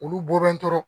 Olu bɔlen tora